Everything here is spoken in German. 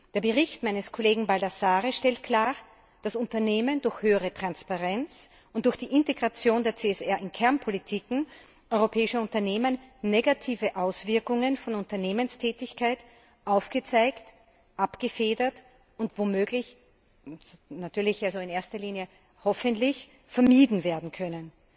Der Bericht meines Kollegen Baldassarre stellt klar, dass durch höhere Transparenz und durch die Integration der CSR in Kernpolitiken europäischer Unternehmen negative Auswirkungen von Unternehmenstätigkeit den Unternehmen aufgezeigt, abgefedert und womöglich und in erster Linie hoffentlich vermieden werden können.